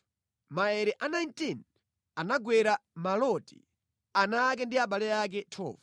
Maere a 19 anagwera Maloti, ana ake ndi abale ake. 12